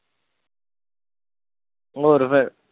ਹੋਰ ਫਿਰ।